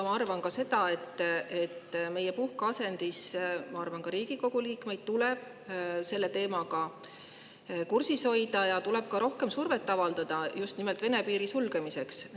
Ma arvan ka seda, et meie puhkeasendis Riigikogu liikmeid tuleb selle teemaga kursis hoida ja tuleb rohkem survet avaldada just nimelt Vene piiri sulgemiseks.